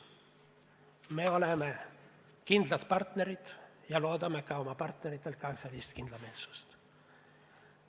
Me oleme kindlad partnerid ja loodame ka oma partneritelt sellist kindlameelsust.